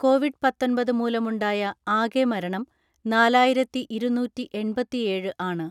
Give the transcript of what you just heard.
Covid പത്തൊൻപത് മൂലമുണ്ടായ ആകെ മരണം നാലായിരത്തിഇരുന്നൂറ്റിഎൺപത്തിഏഴ് ആണ്.